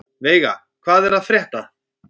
Veiga, hvað er að frétta?